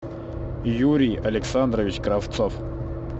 юрий александрович кравцов